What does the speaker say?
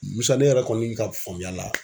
MUSA ne yɛrɛ kɔni ka faamuya la